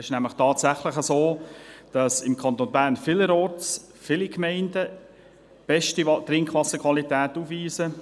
Es ist nämlich tatsächlich so, dass im Kanton Bern vielerorts viele Gemeinden beste Trinkwasserqualität aufweisen.